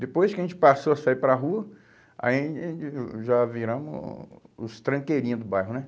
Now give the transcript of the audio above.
Depois que a gente passou a sair para a rua, aí a gente, já viramos o os tranqueirinhos do bairro, né?